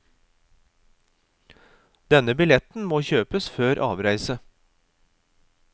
Denne billetten må kjøpes før avreise.